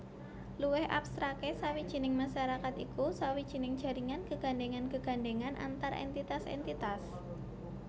Luwih abstraké sawijining masarakat iku sawijining jaringan gegandhéngan gegandhéngan antar entitas entitas